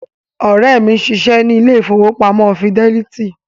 Ọ̀rẹ́ mi ń ṣiṣẹ́ ní ilé ìfowópamọ́ fidẹ́lítì